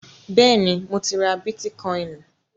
Bẹ́ẹ̀ni, mo ti ra bítíkọìnì.